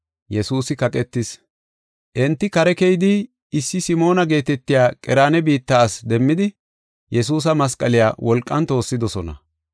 Enti kare keyidi, issi Simoona geetetiya Qereena biitta asi demmidi, Yesuusa masqaliya wolqan toossidosona.